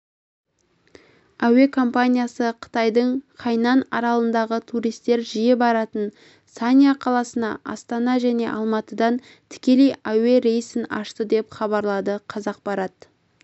әуекомпаниясы қытайдың хайнань аралындағы туристер жиі баратын санья қаласына астана және алматыдан тікелей әуе рейсін ашты деп хабарлады қазақпарат